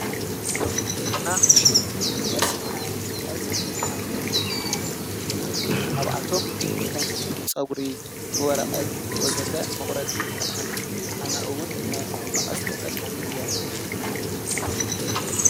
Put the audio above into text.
እንሪኦ ዘለና ሽሙ መቀስ ይባሃል፡፡ መቀስ ብዙሓት ረብሓታት ዘለዎ እንትኮኑ ካብኣቶም ከም ፀጉሪ፣ ወረቀት ወዘተ መቁረፂ ይጠቅመና፡፡ ኣነ እውን ናይ መቀስ ተጠቃሚ እየ፡፡